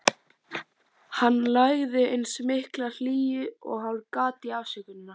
Hann lagði eins mikla hlýju og hann gat í afsökunina.